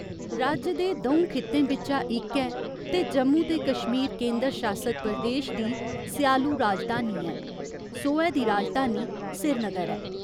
राज्य दे द'ऊं खित्तें बिच्चा इक ऐ ते जम्मू ते कश्मीर केंदर शासत प्रदेश दी स्यालू राजधानी ऐ, सौहे दी राजधानी श्रीनगर ऐ।